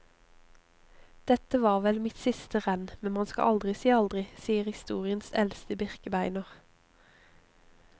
Dette var vel mitt siste renn, men man skal aldri si aldri, sier historiens eldste birkebeiner.